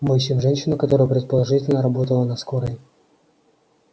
мы ищем женщину которая предположительно работала на скорой